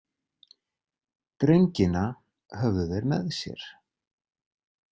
Drengina höfðu þeir með sér.